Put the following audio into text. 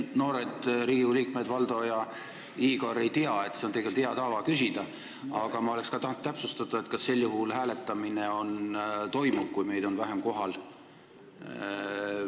Noored Riigikogu liikmed Valdo ja Igor ei tea, et on tegelikult hea tava seda küsida, aga ma oleks tahtnud täpsustada, kas sel juhul hääletamine toimub, kui meid on vähem kohal.